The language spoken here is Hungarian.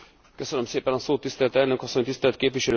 Tisztelt elnök asszony, tisztelt képviselőtársaim!